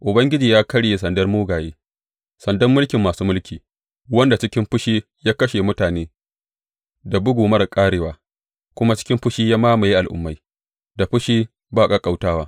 Ubangiji ya karye sandar mugaye, sandan mulkin masu mulki, wanda cikin fushi ya kashe mutane da bugu marar ƙarewa, kuma cikin fushi ya mamaye al’ummai da fushi ba ƙaƙƙautawa.